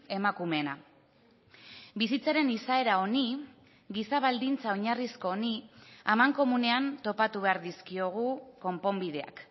emakumeena bizitzaren izaera honi giza baldintza oinarrizko honi amankomunean topatu behar dizkiogu konponbideak